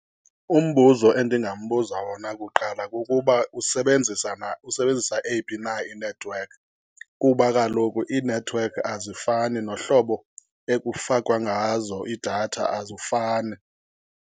Umbuzo endingambuza wona kuqala kukuba usebenzisa usebenzisa eyipha na inethiwekhi. Kuba kaloku iinethiwekhi azifani, nohlobo ekufakwa ngazo iidatha azifani.